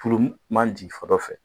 Furu man ji fɛ